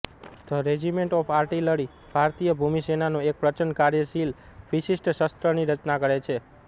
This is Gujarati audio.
ધ રેજીમેન્ટ ઓફ આર્ટિલરી ભારતીય ભૂમિ સેનાનો એક પ્રચંડ કાર્યશીલ વિશિષ્ટ શસ્ત્રની રચના કરે છે